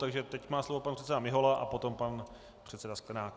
Takže teď má slovo pan předseda Mihola a potom pan předseda Sklenák.